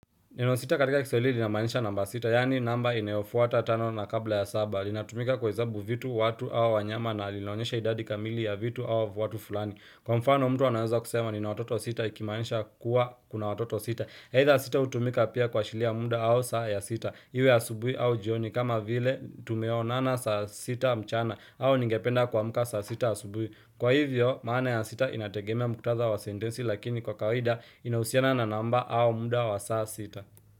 Neno sita katika kiswahili linamaanisha namba sita, yaani namba inayofuata tano na kabla ya saba. Linatumika kuhesabu vitu, watu au wanyama na linaonyesha idadi kamili ya vitu au watu fulani. Kwa mfano, mtu anaweza kusema nina watoto sita, akimaanisha kuwa kuna watoto sita. Aidha sita hutumika pia kuashiria muda au saa ya sita. Iwe asubuhi au jioni kama vile tumeonana saa sita mchana au ningependa kuamka saa sita asubuhi. Kwa hivyo, maana ya sita inategemea muktadha wa sentensi lakini kwa kawaida inahusiana na namba au muda wa saa sita.